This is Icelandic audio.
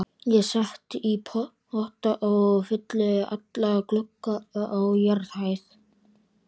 Ég set í potta og fylli alla glugga á jarðhæð.